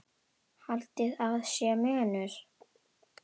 Haldið að sé munur?